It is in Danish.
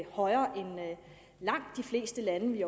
højere end langt de fleste lande vi